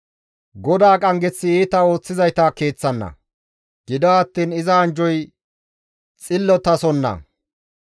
GODAA qanggeththi iita ooththizayta keeththanna; gido attiin iza anjjoy xillotasonna.